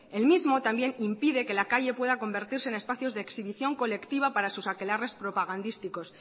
el mismo también impide que la calle pueda convertirse en espacios de exhibición colectiva para sus aquelarres propagandísticos